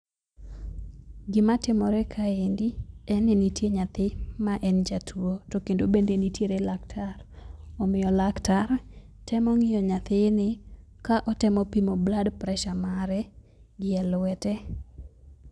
Gima timore kaendi en ni nitie nyathi ma en jatuo to kendo bende nitie Laktar. Omiyo laktar temo ng'iyo nyathini ka otemo pimo blood pressure mare gi elwete.